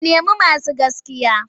Ku nemo masu gaskiya!